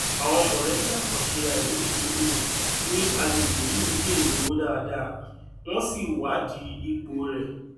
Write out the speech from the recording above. àwọn mọlẹbí àkànṣe àìlófin um ní agbègbè yìí ń jèrè owó dáadáa wọn sì wá di ipò rẹ